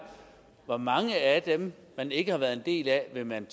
hvor mange af dem man ikke har været en del af vil man